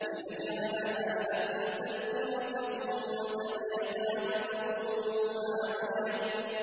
لِنَجْعَلَهَا لَكُمْ تَذْكِرَةً وَتَعِيَهَا أُذُنٌ وَاعِيَةٌ